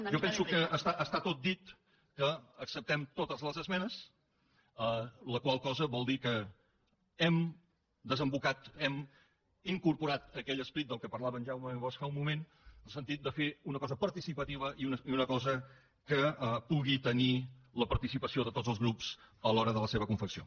jo penso que està tot dit que acceptem totes les esmenes la qual cosa vol dir que hem desembocat hem incorporat aquell esperit de què parlava en jaume bosch fa un moment en el sentit de fer una cosa participativa i una cosa que pugui tenir la participació de tots els grups a l’hora de la seva confecció